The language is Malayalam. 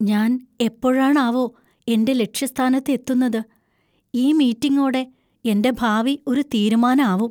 ഞാൻ എപ്പോഴാണാവോ എന്‍റെ ലക്ഷ്യസ്ഥാനത്ത് എത്തുന്നത്? ഈ മീറ്റിങ്ങോടെ എന്‍റെ ഭാവി ഒരു തീരുമാനാവും.